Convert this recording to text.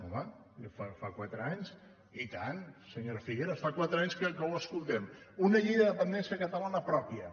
home fa quatre anys i tant senyora figueras fa quatre anys que ho escoltem una llei de dependència catalana pròpia